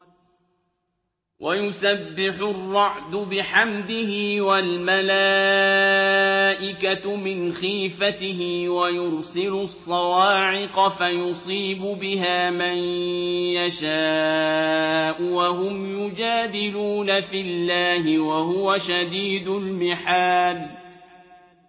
وَيُسَبِّحُ الرَّعْدُ بِحَمْدِهِ وَالْمَلَائِكَةُ مِنْ خِيفَتِهِ وَيُرْسِلُ الصَّوَاعِقَ فَيُصِيبُ بِهَا مَن يَشَاءُ وَهُمْ يُجَادِلُونَ فِي اللَّهِ وَهُوَ شَدِيدُ الْمِحَالِ